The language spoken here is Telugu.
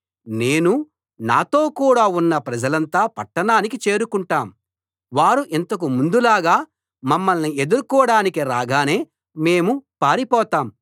నేనూ నాతో కూడా ఉన్న ప్రజలంతా పట్టణానికి చేరుకుంటాం వారు ఇంతకు ముందులాగా మమ్మల్ని ఎదుర్కోడానికి రాగానే మేము పారిపోతాం